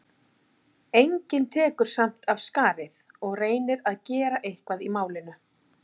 Hafði Egill þar keypt við margan og lét flytja heim á skipi.